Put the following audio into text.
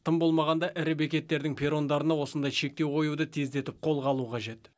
тым болмағанда ірі бекеттердің перрондарына осындай шектеу қоюды тездетіп қолға алу қажет